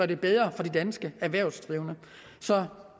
det bedre for de danske erhvervsdrivende så